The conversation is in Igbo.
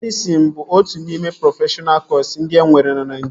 Medịsịn bụ otu n'ime prọfeshọna kọsu ndị enwere na Naịjirịa